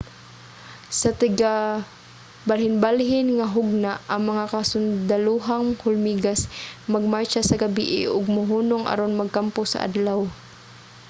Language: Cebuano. sa tigbalhinbalhin nga hugna ang mga kasundalohang hulmigas magmartsa sa gabii ug mohunong aron magkampo sa adlaw